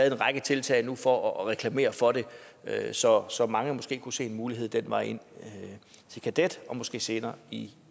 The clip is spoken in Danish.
en række tiltag nu for at reklamere for det så så mange måske kunne se en mulighed den vej ind til kadet og måske senere i